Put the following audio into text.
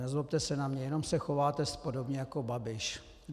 Nezlobte se na mě, jenom se chováte podobně jako Babiš.